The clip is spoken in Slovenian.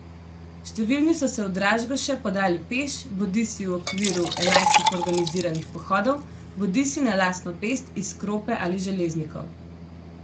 Številni so se v Dražgoše podali peš, bodisi v okviru enajstih organiziranih pohodov, bodisi na lastno pest iz Krope ali Železnikov.